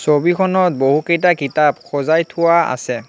ছবিখনত বহু কেইটা কিতাপ সজাই থোৱা আছে।